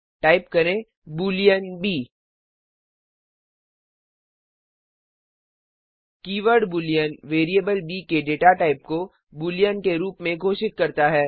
type करें Boolean b keyword Boolean variable b के data type को बूलियन के रूप में घोषित करता है